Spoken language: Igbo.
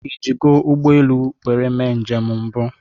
ị ji go ụgbọ elu nwere mee njem mbụ?